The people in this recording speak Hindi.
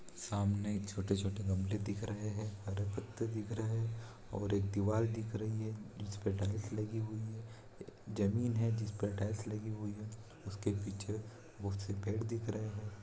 सामने छोटे-छोटे गमले दिख रहे हैं हरे पत्ते दिख रहे हैं और एक दीवार दिख रही है जिस पे टाइल्स लगी हुई है जमीन है जिस पर टाइल्स लगी हुई है उसके पीछे बहोत से पेड़ दिख रहे हैं।